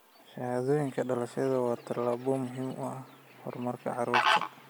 Shahaadooyinka dhalashadu waa tallaabo muhiim u ah horumarka carruurta.